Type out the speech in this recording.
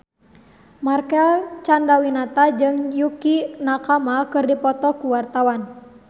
Marcel Chandrawinata jeung Yukie Nakama keur dipoto ku wartawan